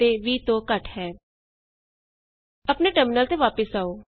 sum is greater than 10 and less than 20 ਆਪਣੇ terminal ਤੇ ਵਾਪਸ ਆਉ